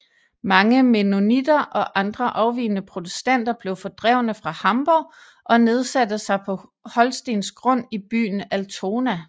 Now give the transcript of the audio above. Mange mennonitter og andre afvigende protestanter blev fordrevne fra Hamborg og nedsatte sig på holstensk grund i byen Altona